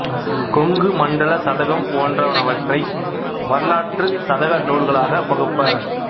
கொங்கு மண்டலச் சதகம் போன்றனவற்றை வரலாற்று சதக நூல்களாகப் பகுப்பர்